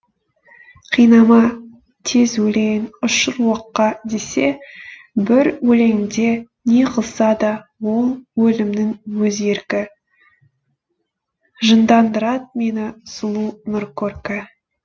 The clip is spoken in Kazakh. қинама тез өлейін ұшыр оққа десе бір өлеңінде не қылса да ол өлімнің өз еркі жындандырат мені сұлу нұр көркі